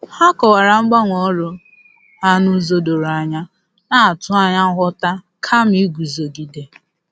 Ha kọwara mgbanwe ọrụ ha n'ụzọ doro anya, na-atụ anya nghọta kama iguzogide.